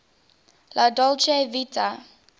la dolce vita